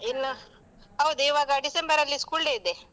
ಇನ್ನು ಹೌದು ಇವಾಗ ಡಿಸೆಂಬರಲ್ಲಿ school day ಇದೆ.